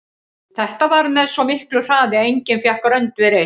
Þetta varð með svo miklu hraði að enginn fékk rönd við reist.